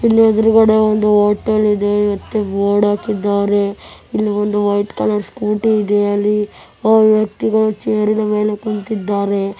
ಇಲ್ಲಿ ಎದುರು ಗಾದೆ ಒಂದು ಹೋಟೆಲ್ ಇದೆ ಬೋರ್ಡ್ ಹಾಕಿದ್ದಾರೆ ಇಲ್ಲಿ ಒಂದು ವೈಟ್ ಕಲರ್ ಸ್ಕೂಟಿ ಇದೆ ಅಲ್ಲಿ ವ್ಯಕ್ತಿಗಳು ಚೇರ್ ಮೇಲೆ ಕೂತಿದ್ದಾರೆ.